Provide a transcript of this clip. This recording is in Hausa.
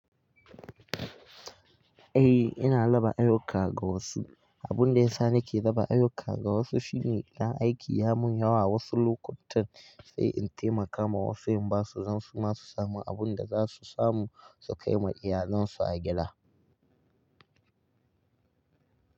Eh, ina raba ayyuka ga wasu. Abin da yasa nake zaba ayyuka ga wasu shine na aiki ya mun yawa wasu lokutan, sai in taimaka ma wasu in basu zansu masu samun abun da zasu samu su kai ma iyalen su a gida.